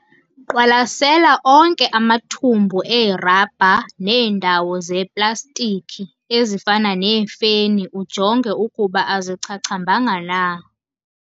Qwalasela onke amathumbu erabha neendawo zeeplastikhi ezifana neefeni ujonge ukuba azichachambanga na.